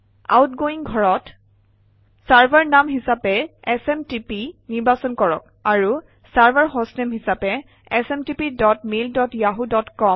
outgoing ঘৰত server নাম হিচাপে এছএমটিপি নিৰ্বাচন কৰক আৰু চাৰ্ভাৰ হষ্টনেম হিচাপে smtpmailyahooকম